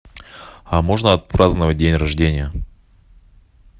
а можно отпраздновать день рождения